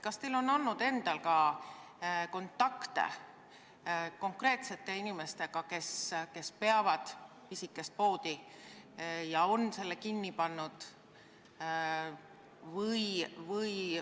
Kas teil on olnud kontakte konkreetsete inimestega, kes on pidanud pisikest poodi ja selle kinni pannud?